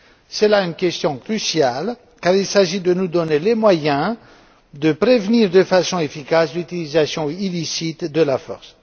C'est là une question cruciale car il s'agit de nous donner les moyens de prévenir de façon efficace l'utilisation illicite de la force.